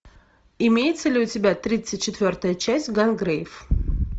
имеется ли у тебя тридцать четвертая часть гангрейв